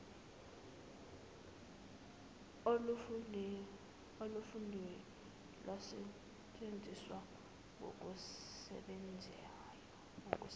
olufundiwe lwasetshenziswa ngokusebenzayo